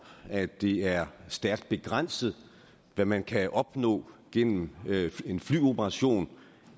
at det er stærkt begrænset hvad man kan opnå gennem en flyoperation